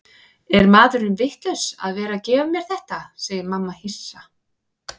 Er maðurinn vitlaus að vera að gefa mér þetta, segir mamma hissa.